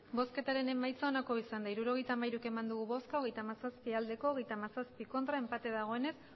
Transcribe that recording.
emandako botoak hirurogeita hamairu bai hogeita hamazazpi ez hogeita hamazazpi enpate dagoenez